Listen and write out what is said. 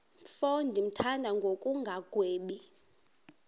mfo ndimthanda ngokungagwebi